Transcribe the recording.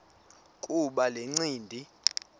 kuba le ncindi